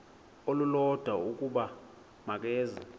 olulodwa ukuba makeze